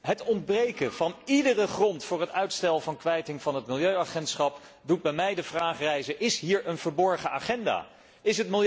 Het ontbreken van iedere grond voor het uitstel van kwijting van het Milieuagentschap doet bij mij de vraag rijzen of er hier een verborgen agenda is.